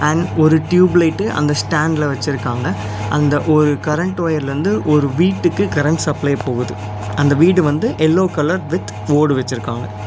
And ஒரு tube light அந்த ஸ்டாண்ட்ல வெச்சிருக்காங்க அந்த ஒரு கரண்ட் ஒயர்ல இருந்து ஒரு வீட்டுக்கு கரண்ட் சப்ளை போகுது அந்த வீடு வந்து எல்லோ கலர் வித் போர்டு வெச்சிருக்காங்க.